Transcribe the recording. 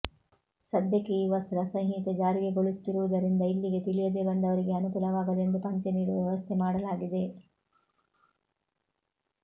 ಸದ್ಯಕ್ಕೆ ಈ ವಸ್ತ್ರ ಸಂಹಿತೆ ಜಾರಿಗೊಳಿಸುತ್ತಿರುವುದರಿಂದ ಇಲ್ಲಿಗೆ ತಿಳಿಯದೆ ಬಂದವರಿಗೆ ಅನುಕೂಲವಾಗಲಿ ಎಂದು ಪಂಚೆ ನೀಡುವ ವ್ಯವಸ್ಥೆ ಮಾಡಲಾಗಿದೆ